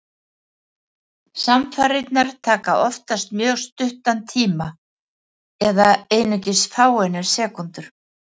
Samfarirnar taka oftast mjög stuttan tíma, eða einungis fáeinar sekúndur.